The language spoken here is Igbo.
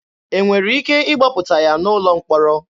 E nwere ike ịgbapụta ya n'ụlọ mkpọrọ?